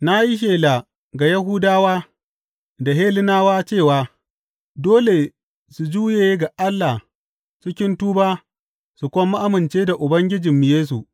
Na yi shela ga Yahudawa da Hellenawa cewa dole su juye ga Allah cikin tuba su kuma amince da Ubangijinmu Yesu.